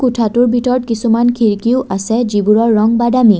কোঠাটোৰ ভিতৰত কিছুমান খিৰিকীও আছে যি বোৰৰ ৰং বাদামী।